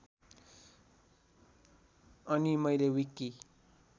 अनि मैले विकि